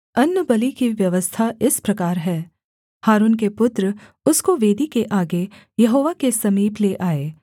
अन्नबलि की व्यवस्था इस प्रकार है हारून के पुत्र उसको वेदी के आगे यहोवा के समीप ले आएँ